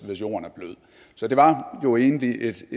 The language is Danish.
hvis jorden var blød så det var jo egentlig et